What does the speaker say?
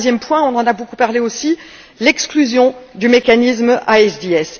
Le troisième point, on en a beaucoup parlé aussi, c'est l'exclusion du mécanisme ISDS.